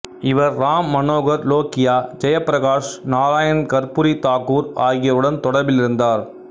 இவர் ராம் மனோகர் லோகியா ஜெயபிரகாஷ் நாராயண் கர்பூரி தாக்கூர் ஆகியோருடன் தொடர்பிலிருந்தார்